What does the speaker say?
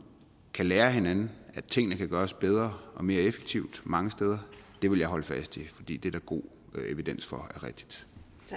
kan lære af hinanden at tingene kan gøres bedre og mere effektivt mange steder vil jeg holde fast i fordi det er der god evidens for er rigtigt